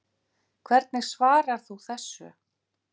Hvernig svarar þú þessu?